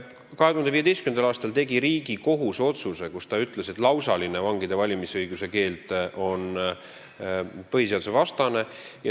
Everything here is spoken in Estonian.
2015. aastal tegi Riigikohus otsuse, milles ütles, et lausaline vangide valimisõiguse keeld on põhiseadusvastane.